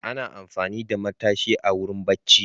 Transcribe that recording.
Ana amfani da matashi a wurin bacci.